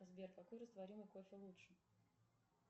сбер какой растворимый кофе лучше